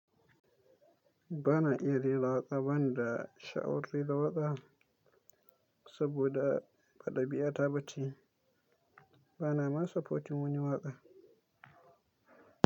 Bana iya rera waƙa bani da sha'awar rera waƙa saboda ba ɗabi'ata ba ce. Bana ma son supporting wani waƙa.